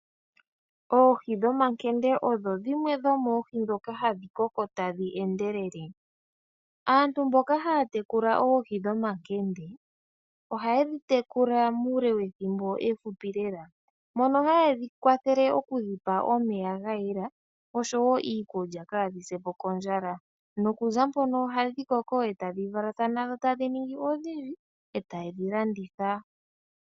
Oohi dhomankende odho dhimwe dhomoohi ndhoka hadhi koko tadhi endelele. Aantu mboka haya tekula oohi dhomankende, ohaye dhi tekula muule wethimbo efupi lela, mono ha yedhi kwathele oku dhi pa omeya ga yela oshowo iikulya kaadhi se po kondjala, nokuza mpono ohadhi koko e tadhi valathana, tadhi ningi odhindji e taye dhi landitha.